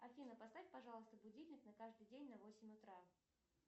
афина поставь пожалуйста будильник на каждый день на восемь утра